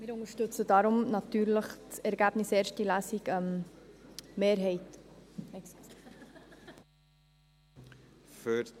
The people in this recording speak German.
Wir unterstützen deshalb natürlich das Ergebnis ersten Lesung, die Mehrheit, entschuldigen Sie.